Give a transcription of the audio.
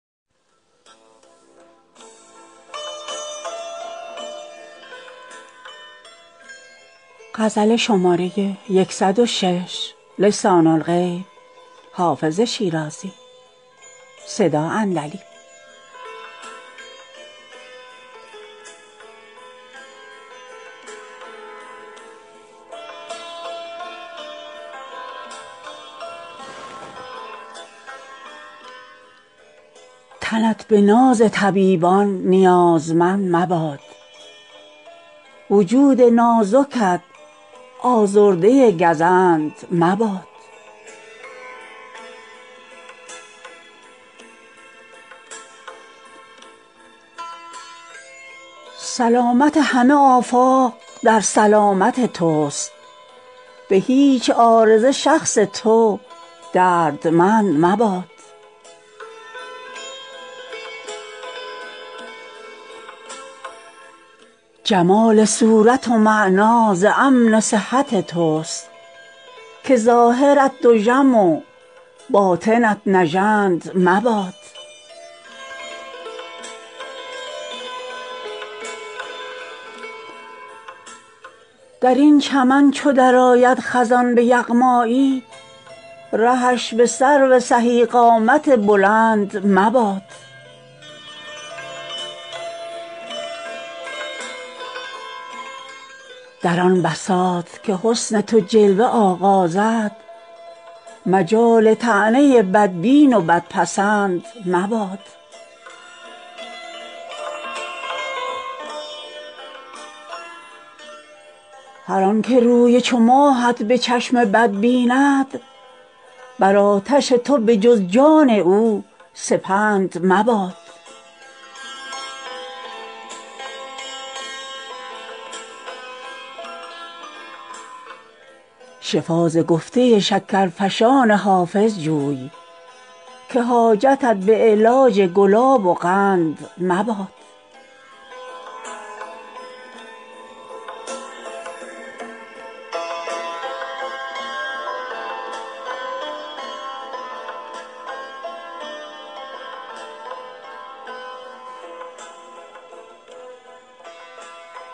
تنت به ناز طبیبان نیازمند مباد وجود نازکت آزرده گزند مباد سلامت همه آفاق در سلامت توست به هیچ عارضه شخص تو دردمند مباد جمال صورت و معنی ز امن صحت توست که ظاهرت دژم و باطنت نژند مباد در این چمن چو درآید خزان به یغمایی رهش به سرو سهی قامت بلند مباد در آن بساط که حسن تو جلوه آغازد مجال طعنه بدبین و بدپسند مباد هر آن که روی چو ماهت به چشم بد بیند بر آتش تو به جز جان او سپند مباد شفا ز گفته شکرفشان حافظ جوی که حاجتت به علاج گلاب و قند مباد